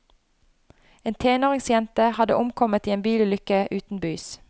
En tenåringsjente hadde omkommet i en bilulykke utenbys.